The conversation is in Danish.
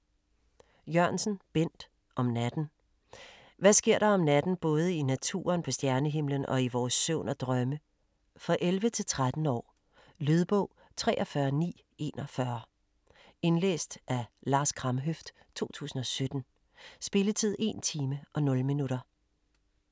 Jørgensen, Bent: Om natten Hvad sker der om natten både i naturen, på stjernehimlen og i vores søvn og drømme? For 11-13 år. Lydbog 43941 Indlæst af Lars Kramhøft, 2017. Spilletid: 1 time, 0 minutter.